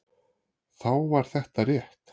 Þá var þetta rétt.